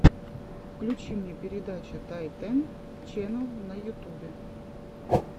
включи мне передача тайтэн ченнал на ютубе